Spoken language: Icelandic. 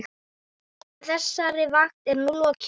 Þessari vakt er nú lokið.